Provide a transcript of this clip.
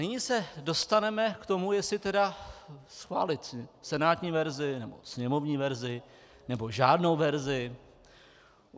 Nyní se dostaneme k tomu, jestli tedy schválit senátní verzi, nebo sněmovní verzi, nebo žádnou verzi.